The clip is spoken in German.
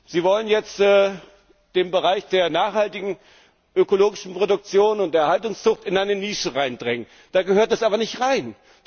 Sie wollen jetzt den Bereich der nachhaltigen ökologischen Produktion und der Erhaltungszucht in eine Nische hineindrängen. Da gehört er aber nicht rein.